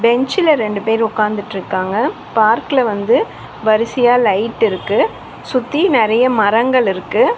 பெஞ்சுல ரெண்டு பேர் ஒக்காந்துட்ருக்காங்க. பார்க்ல வந்து வரிசயா லைட்டிருக்கு . சுத்தி நெறைய மரங்கள் இருக்கு.